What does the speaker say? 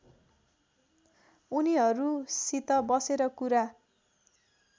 उनीहरूसित बसेर कुरा